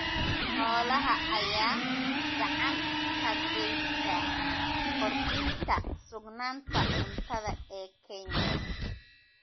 Xoolaha ayaa gacan ka geysta kordhinta sugnaanta cuntada ee Kenya.